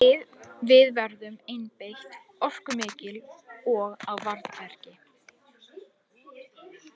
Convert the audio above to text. Við verðum einbeitt, orkumikil og á varðbergi.